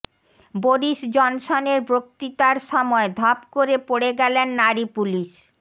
Boris জনসনের বক্তৃতার সময় ধপ করে পড়ে গেলেন নারী পুলিশ